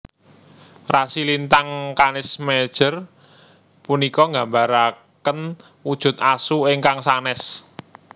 Rasi lintang Canis Major punika nggambaraken wujud Asu ingkang sanès